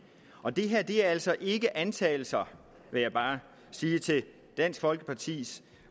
og det her er altså ikke antagelser vil jeg bare sige til dansk folkepartis